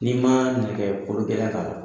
N'i ma nɛgɛ kologɛlɛn k'a la